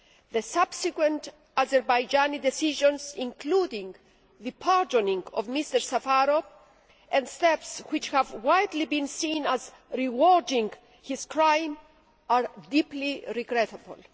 The subsequent Azerbaijani decisions, including the pardoning of Mr Safarov and steps which have widely been seen as rewarding his crime, are deeply regrettable.